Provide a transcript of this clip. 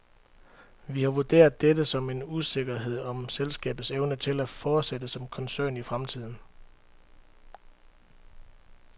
Vi har vurderet dette som en usikkerhed om selskabets evne til at fortsætte som koncern i fremtiden.